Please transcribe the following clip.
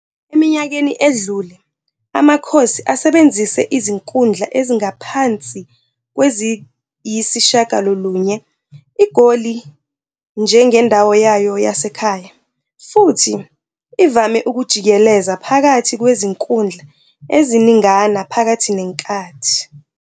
Eminyakeni edlule, "Amakhosi" Asebenzise izinkundla ezingaphansi kweziyisishiyagalolunye IGoli njengendawo yayo yasekhaya, futhi ivame ukujikeleza phakathi kwezinkundla eziningana phakathi nenkathi.